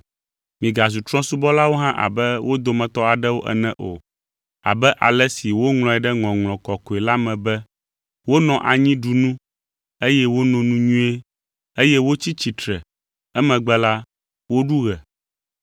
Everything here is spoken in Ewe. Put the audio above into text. Migazu trɔ̃subɔlawo hã abe wo dometɔ aɖewo ene o, abe ale si woŋlɔe ɖe Ŋɔŋlɔ Kɔkɔe la me be, “Wonɔ anyi ɖu nu eye wono nu nyuie eye wotsi tsitre, emegbe la, woɖu ɣe.”